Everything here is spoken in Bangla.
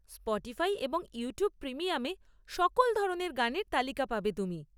স্পটিফাই এবং ইউটিউব প্রিমিয়ামে সকল ধরনের গানের তালিকা পাবে তুমি।